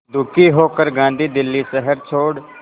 दुखी होकर गांधी दिल्ली शहर छोड़